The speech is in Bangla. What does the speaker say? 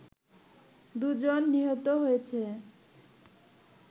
দু'জন নিহত হয়েছে